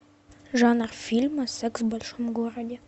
жанр фильма секс в большом городе